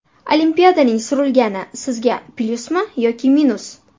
Olimpiadaning surilgani sizga plyusmi yoki minus?